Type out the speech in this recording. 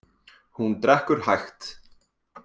Hún drekkur hægt.